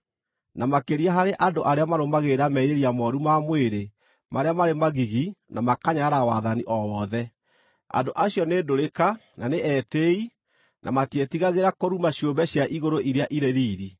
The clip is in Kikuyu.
Na makĩria harĩ andũ arĩa marũmagĩrĩra merirĩria mooru ma mwĩrĩ marĩa marĩ magigi na makanyarara wathani o wothe. Andũ acio nĩ ndũrĩka na nĩ etĩĩi na matiĩtigagĩra kũruma ciũmbe cia igũrũ iria irĩ riiri;